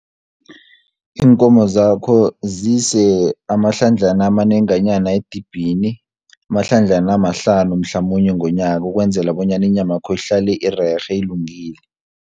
Iinkomo zakho zise amahlandlana amanenganyana edibhini, amahlandlana amahlanu mhlamunye ngonyaka, ukwenzela bonyana inyama yakho ihlale irerhe ilungile.